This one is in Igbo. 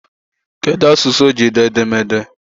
Kedụ asụsụ o ji dee edemede ya?